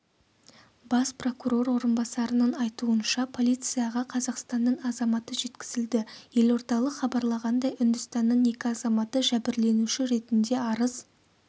бас прокурор орынбасарының айтуынша полицияға қазақстанның азаматы жеткізілді елордалық хабарлағандай үндістанның екі азаматы жәбірленуші ретінде арыз